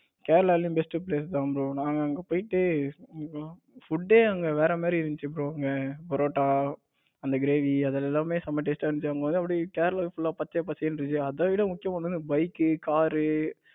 கேரளாவுலயும் இருக்காங்க bro நாங்க அங்க போயிட்டு food அங்க வேற மாதிரி இருந்துச்சு. bro புரோட்டா அந்த கிரேவி அது எல்லாமே செம taste டா இருந்துச்சு. அங்க எல்லாம் எப்டி கேரளா full பச்சை பச்சையர்ணு அதைவிட முக்கியமானது bike, car